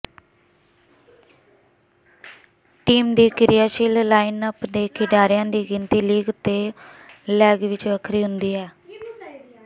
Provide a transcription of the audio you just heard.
team ਦੀ ਕਿਰਿਆਸ਼ੀਲ lineup ਦੇ ਖਿਡਾਰੀਆਂ ਦੀ ਗਿਣਤੀ ਲੀਗ ਤੋਂ ਲੈਗ ਵਿਚ ਵੱਖਰੀ ਹੁੰਦੀ ਹੈ